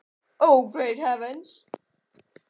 Einhvern hluta næturinnar að minnsta kosti.